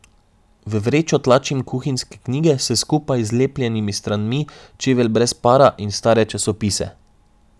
V vrečo tlačim kuhinjske knjige s skupaj zlepljenimi stranmi, čevelj brez para in stare časopise.